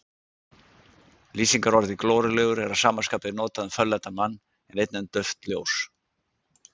Lýsingarorðið glorulegur er að sama skapi notað um fölleitan mann en einnig um dauft ljós.